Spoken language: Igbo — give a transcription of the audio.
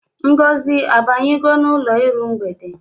Ngozi abanyego n'ụlọ iru mgbede?